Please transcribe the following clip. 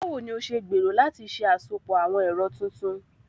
Báwo ni o ṣe gbèrò láti ṣe àsopọ̀ àwọn ẹ̀rọ tuntun?